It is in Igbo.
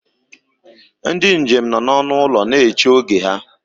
Ndị njem nọ n'ọnụ ụlọ na-eche oge ha